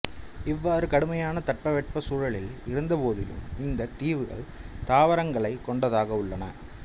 இவ்வாறு கடுமையான தட்பவெட்ப சூழலில் இருந்தபோதிலும் இந்தத் தீவுகள் தாவரங்களை கொண்டதாக உள்ளன